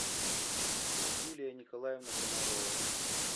юлия николаевна комарова